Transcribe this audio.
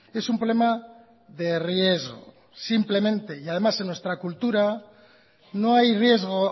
es un problema de riesgo simplemente y además en nuestra cultura no hay riesgo